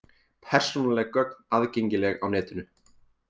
Persónuleg gögn aðgengileg á netinu